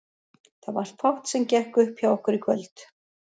Það var fátt sem gekk upp hjá okkur í kvöld.